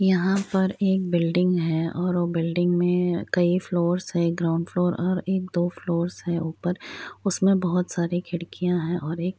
यहां पर एक बिल्डिंग है और वो बिल्डिंग में कई फ्लोर्स है ग्राउंड फ्लोर्स और एक दो फ्लोर्स है ऊपर उसमें बहुत सारे खिड़कियां हैं और एक --